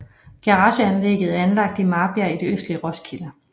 Garageanlægget er anlagt i Marbjerg i det østlige Roskilde